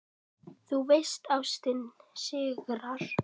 Þú veist: Ástin sigrar.